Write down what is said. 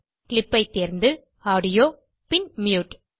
clip ஐ தேர்ந்து audio பின் மியூட்